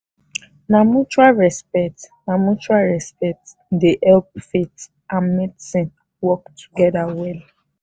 na mutual respect na mutual respect dey help faith and medicine wok togeda well